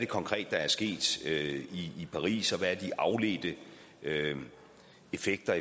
konkret er sket i paris og hvad der er de afledte effekter